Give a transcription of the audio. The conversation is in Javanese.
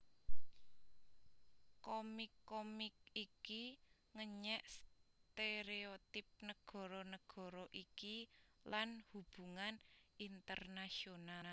Komik komik iki ngenyèk stéréotip nagara nagara iki lan hubungan internasional